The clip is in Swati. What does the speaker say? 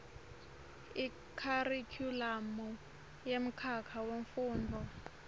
ikharikhulamu yemkhakha wemfundvo